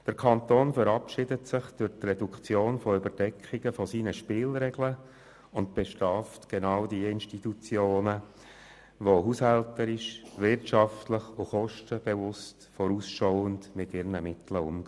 Der Kanton verabschiedet sich durch die Reduktion von Überdeckungen von seinen Spielregeln und bestraft gerade Institutionen, die haushälterisch, wirtschaftlich, kostenbewusst und vorausschauend mit ihren Mitteln umgehen.